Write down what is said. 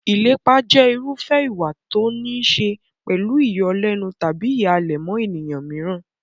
Ìlépa jẹ́ irúfẹ́ ìwà tó níí ṣe pẹ̀lú ìyọlẹ́nu tàbí ìhàlẹ̀ mọ́ ènìyàn mìíràn.